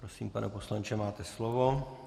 Prosím, pane poslanče, máte slovo.